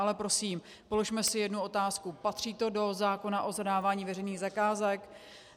Ale prosím, položme si jednu otázku: Patří to do zákona o zadávání veřejných zakázek?